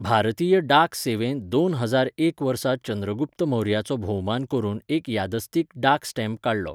भारतीय डाक सेवेन दोन हजार एक वर्सा चंद्रगुप्त मौर्याचो भोवमान करून एक यादस्तीक डाक स्टॅम्प काडलो.